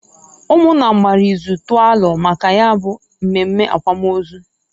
Umunna gbara ịzụ tụọ alo maka ya bu mmemme akwamozu.